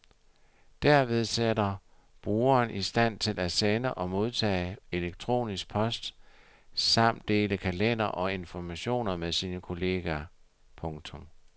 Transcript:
Derved sættes brugeren i stand til at sende og modtage elektronisk post samt dele kalender og informationer med sine kolleger. punktum